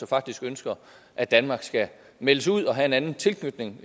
faktisk ønsker at danmark skal meldes ud og have en anden tilknytning